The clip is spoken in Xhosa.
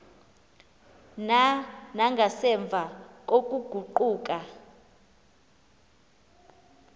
na nangasemva kokuguquka